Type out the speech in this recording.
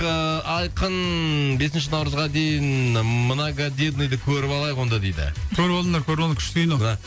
ыыы айқын бесінші наурызға дейін многодетныйды көріп алайық онда дейді көріп алыңдар көріп алыңдар күшті кино